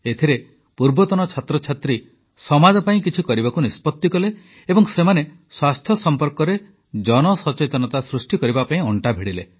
ଏଥିରେ ପୂର୍ବତନ ଛାତ୍ରଛାତ୍ରୀ ସମାଜ ପାଇଁ କିଛି କରିବାକୁ ନିଷ୍ପତି ନେଲେ ଏବଂ ସେମାନେ ସ୍ୱାସ୍ଥ୍ୟ ସମ୍ପର୍କରେ ଜନସଚେତନତା ସୃଷ୍ଟି କରିବା ପାଇଁ ଅଂଟା ଭିଡ଼ିଲେ